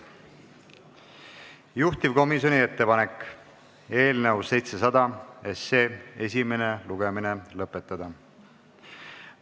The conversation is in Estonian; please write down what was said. Juhtivkomisjoni ettepanek on eelnõu 700 esimene lugemine lõpetada.